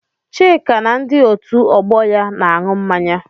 Chika na ndi otu ọgbọ ya na-aṅụ mmanya.